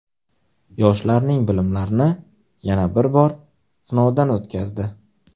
Yoshlarning bilimlarini yana bir bor sinovdan o‘tkazdi.